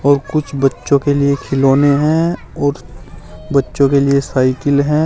कुछ बच्चों के लिए खिलौने हैं और बच्चों के लिए साइकिल है।